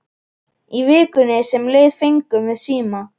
Í vikunni sem leið fengum við síma.